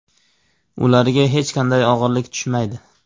Ularga hech qanday og‘irlik tushmaydi.